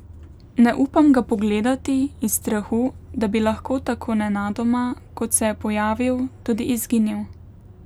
Ne upam ga pogledati, iz strahu, da bi lahko tako nenadoma, kot se je pojavil, tudi izginil.